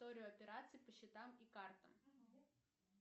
историю операций по счетам и картам